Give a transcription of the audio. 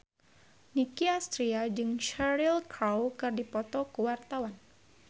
Nicky Astria jeung Cheryl Crow keur dipoto ku wartawan